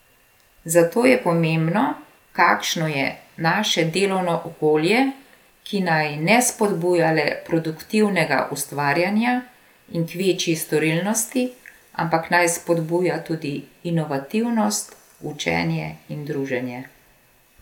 Zato je pomembno, kakšno je naše delovno okolje, ki naj ne spodbuja le produktivnega ustvarjanja in k večji storilnosti, ampak naj spodbuja tudi inovativnost, učenje in druženje.